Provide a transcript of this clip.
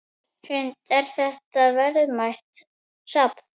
Hrund: Er þetta verðmætt safn?